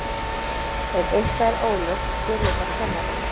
ef eitthvað er óljóst spurðu þá kennarann